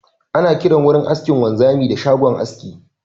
Ana kiran wurin aikin wanzami da shagon aski